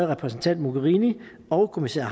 repræsentant mogherini og kommissær